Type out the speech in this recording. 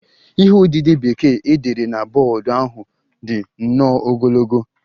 Ihe odide Bekee e dere na bọọdụ ahụ dị nnọọ ogologo